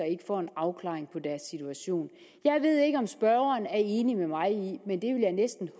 ikke får en afklaring på deres situation jeg ved ikke om spørgeren er enig med mig i men det vil jeg næsten